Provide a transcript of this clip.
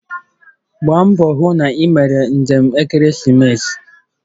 Gbaa mbọ hụ na ị mere njem maka ekeresimesi